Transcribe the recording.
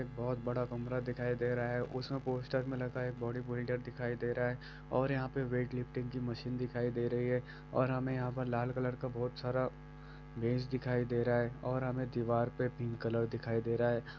एक बहुत बड़ा कमरा दिखाई दे रहा है उसमें पोस्टर में लगा बॉडी बिल्डर लगा हुआ दिख रहा है और यहाँ वेटलिफ्टिंग की मशीन दिखाई दे रही है और हमें लाल कलर का बहुत सारा मेज दिखाई दे रहा है।